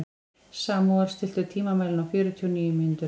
Samúel, stilltu tímamælinn á fjörutíu og níu mínútur.